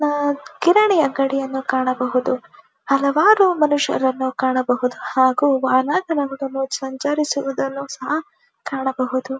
ಅಅ ಕಿರಾಣೆಯ ಅಂಗಡಿಯನ್ನು ಕಾಣಬಹುದು ಹಲವಾರು ಮನುಷ್ಯರನ್ನು ಕಾಣಬಹುದು ಹಾಗು ಸಂಚಿರುಸುದನ್ನು ಸಹ ಕಾಣಬಹುದು.